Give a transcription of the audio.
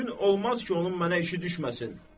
Gün olmaz ki, onun mənə işi düşməsin.